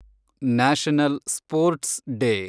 national sports day